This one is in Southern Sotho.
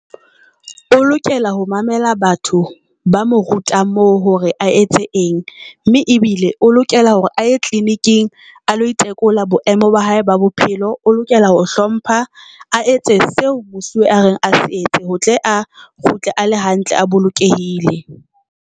O lokela ho mamela batho ba mo rutang moo hore a etse eng mme ebile o lokela hore tleleniking a lo itekola boemo ba hae ba bophelo. O lokela ho hlompha a etse seo mosuwe a reng a se etse, ho tle a kgutle a le hantle a bolokehile.